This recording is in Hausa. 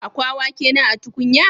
Akwa wake na a tukunya?